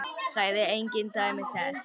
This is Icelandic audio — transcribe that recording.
Sagði engin dæmi þess.